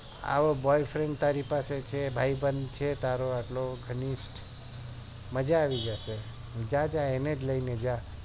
આવો boy friend તારી પાસે છે ભાઈ બંધ છે તારો એટલો ઘનીસ્ત મજા આવી જશે જા જા એને જ લઈને જા